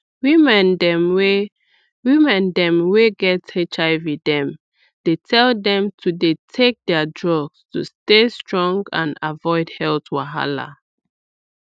women dem wey women dem wey get hiv dem dey tell dem to dey take their drugs to stay strong and avoid health wahala